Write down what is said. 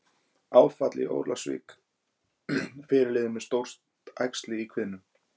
Áfall í Ólafsvík- Fyrirliðinn með stórt æxli í kviðnum